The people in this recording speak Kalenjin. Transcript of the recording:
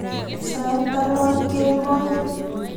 Sait ang'wan kemboi.